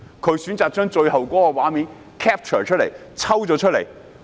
他選擇抽取最後的畫面讓市民觀看。